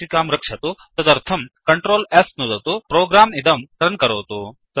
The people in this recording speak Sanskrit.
सङ्चिकां रक्षतु तदर्थं Ctrl S नुदतु प्रोग्राम् इदं रन् करोतु